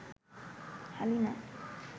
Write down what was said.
Halima